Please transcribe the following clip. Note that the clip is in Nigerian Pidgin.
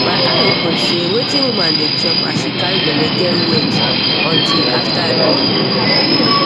my eye open say wetin woman dey chop as she carry belle get weight until after i born